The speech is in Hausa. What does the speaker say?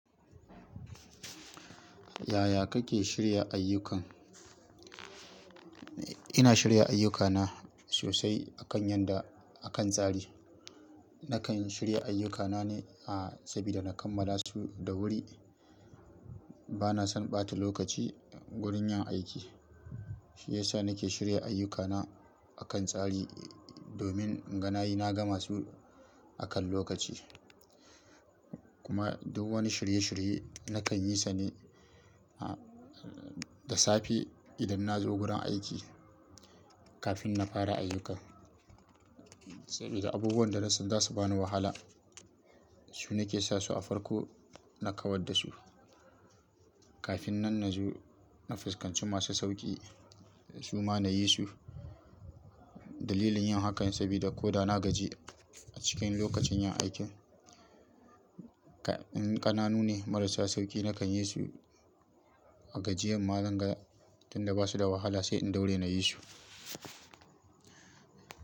Yaya kake shirya ayyukan? Ina shirya ayyukana sosai akan yanda, akan tsari. Nakan shirya ayyukana ne, a, saboda na kammala su da wuri. Bana son ɓata lokaci wurin yin aiki. Shi yasa nake shirya ayyukana akan tsari domin inga nayi na gama su akan lokaci. Kuma duk wani shirye-shirye nakan yi sa ne, a, da safe idan na zo gurin aiki kafin na fara ayyuka. Sabida abubuwan da na san za su bani wahala, su nake sa su a farko ina kawar da su. Kafin nan na zo na fuskanci masu sauƙi su ma na yi su. Dalilin yin hakan sabida ko da na gaji a cikin lokacin yin aikin, ka-- in ƙananu ne marasa sauƙi nakan yi su a gajiyan ma zan ga tun da ba su da wahala sai in daure na yi su.